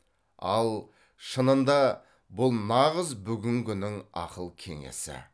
ал шынында бұл нағыз бүгінгінің ақыл кеңесі